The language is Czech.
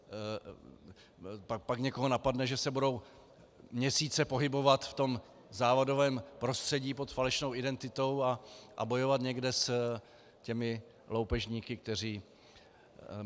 Pak někoho napadne, že se budou měsíce pohybovat v tom závadovém prostředí pod falešnou identitou a bojovat někde s těmi loupežníky, kteří...